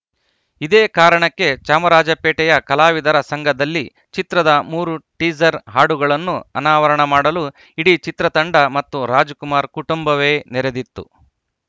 ಇದೇ ಕಾರಣಕ್ಕೆ ಚಾಮರಾಜಪೇಟೆಯ ಕಲಾವಿದರ ಸಂಘದಲ್ಲಿ ಚಿತ್ರದ ಮೂರು ಟೀಸರ್‌ ಹಾಡುಗಳನ್ನು ಅನಾವರಣ ಮಾಡಲು ಇಡೀ ಚಿತ್ರತಂಡ ಮತ್ತು ರಾಜ್‌ಕುಮಾರ್‌ ಕುಟುಂಬವೇ ನೆರೆದಿತ್ತು